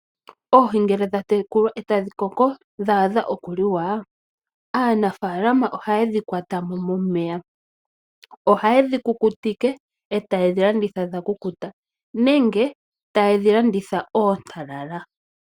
Oohii ngele dhatekulwa ota dhikoko dhadha oku liwa aanafalama oha yedhi kwatamo momeya, oha yedhi kukutike ota yedhi landitha dha kukuta nenge taye dhi landitha oontalala.